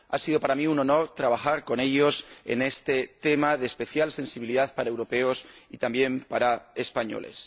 Ha sido para mí un honor trabajar con ellos en este tema de especial sensibilidad para los europeos y también para los españoles.